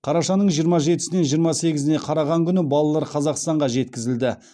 қарашаның жиырма жетісінен жиырма сегізіне қараған күні балалар қазақстанға жеткізілді